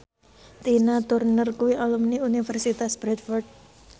Tina Turner kuwi alumni Universitas Bradford